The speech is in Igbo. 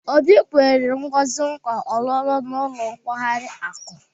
Obi nkwere Ngozi nkwa ọ̀lụ́lụ́ n'ụlọ nkwari akụ.